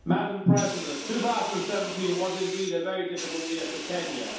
Madam President, 2017 was indeed a very difficult year for Kenya.